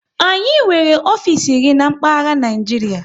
Anyị nwere ofisi iri n'mkpaghara Naijiria